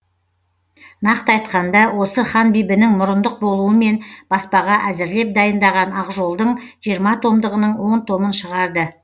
нақты айтқанда осы ханбибінің мұрындық болуымен баспаға әзірлеп дайындаған ақжол дың жиырма томдығының он томын шығарды